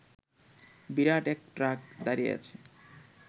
বিরাট এক ট্রাক দাঁড়িয়ে আছে